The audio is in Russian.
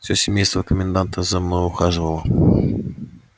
все семейство коменданта за мною ухаживало